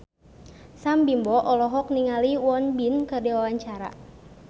Sam Bimbo olohok ningali Won Bin keur diwawancara